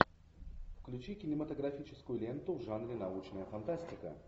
включи кинематографическую ленту в жанре научная фантастика